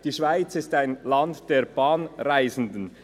«Die Schweiz ist ein Land der Bahnreisenden.